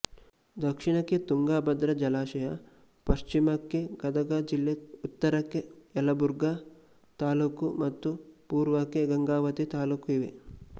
ದಕ್ಷಿಣಕ್ಕೆ ತುಂಗಭದ್ರಾ ಜಲಾಶಯ ಪಶ್ಚಿಮಕ್ಕೆ ಗದಗ ಜಿಲ್ಲೆ ಉತ್ತರಕ್ಕೆ ಯಲಬುರ್ಗ ತಾಲ್ಲೂಕು ಮತ್ತು ಪೂರ್ವಕ್ಕೆ ಗಂಗಾವತಿ ತಾಲ್ಲೂಕು ಇವೆ